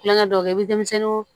Kulonkɛ dɔ kɛ i bɛ denmisɛnninw